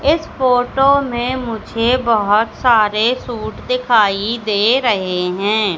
इस फोटो में मुझे बहुत सारे सूट दिखाई दे रहे हैं।